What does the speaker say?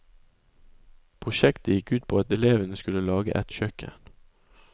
Prosjektet gikk ut på at elevene skulle lage et kjøkken.